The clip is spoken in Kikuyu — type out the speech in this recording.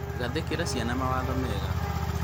gathĩkĩra ciana mawatho mega